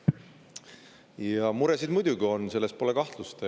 Ja muresid muidugi on, selles pole kahtlust.